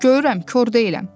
Görürəm, kor deyiləm.